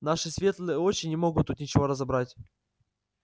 наши светлые очи не могут тут ничего разобрать